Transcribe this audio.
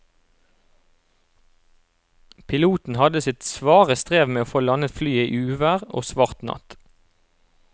Piloten hadde sitt svare strev med å få landet flyet i uvær og svart natt.